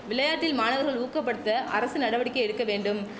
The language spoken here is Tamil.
விளையாட்டில் மாணவர்களை ஊக்கப்படுத்த அரசு நடவடிக்கை எடுக்க வேண்டும்